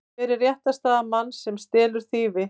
Hver er réttarstaða manns sem stelur þýfi?